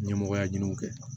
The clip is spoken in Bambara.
Ɲɛmɔgɔya ɲini u fɛ